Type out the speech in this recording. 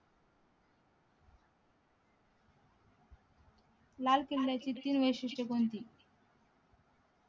लाल किल्ल्याची तीन वैशिष्ट्य कोणती